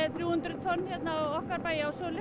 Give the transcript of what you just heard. þrjú hundruð tonn á